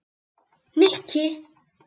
Nikki